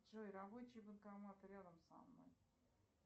джой рабочий банкомат рядом со мной